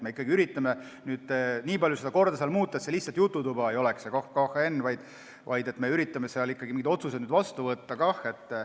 Me ikkagi üritame nii palju seda korda muuta, et see lihtsalt jututuba ei oleks, me üritame seal mingid otsused vastu võtta.